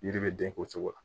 Yiri bɛ den o cogo la